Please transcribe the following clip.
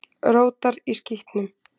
Rótar í skítnum.